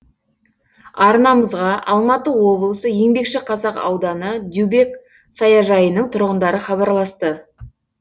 арнамызға алматы облысы еңбекшіқазақ ауданы дюбек саяжайының тұрғындары хабарласты